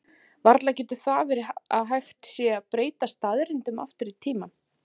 varla getur það verið að hægt sé að breyta staðreyndum aftur í tímann